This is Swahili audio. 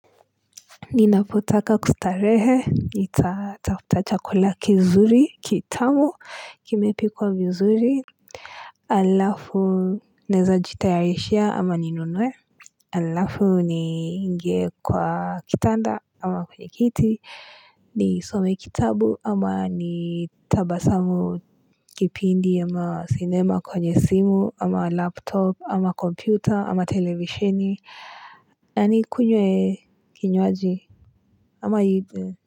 Ninapotaka kustarehe, nitatafuta chakula kizuri, kitamu, kimepikwa vizuri. Alafu, naeza jitayarishia ama ninunue. Alafu, ni ingie kwa kitanda ama kwenye kiti. Nisome kitabu ama ni tabasamu kipindi ama sinema kwenye simu ama laptop ama kompyuta ama televisheni. Na nikunywe kinywaji ama.